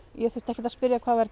ég þurfti ekkert að spyrja hvað var